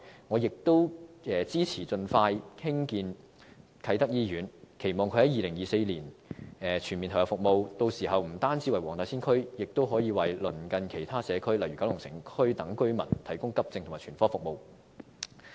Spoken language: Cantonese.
我亦支持盡快興建啟德醫院，期望在2024年全面投入服務，屆時不單為黃大仙區，亦可以為鄰近其他社區如九龍城區等的居民提供急症及全科服務。